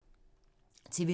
TV 2